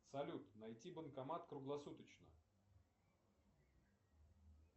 салют найти банкомат круглосуточно